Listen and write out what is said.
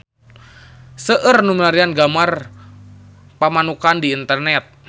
Seueur nu milarian gambar Pamanukan di internet